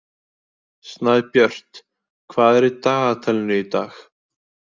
Snæbjört, hvað er í dagatalinu í dag?